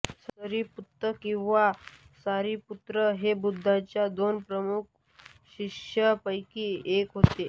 सारिपुत्त किंवा शारिपुत्र हे बुद्धांच्या दोन प्रमुख शिष्यांपैकी एक होते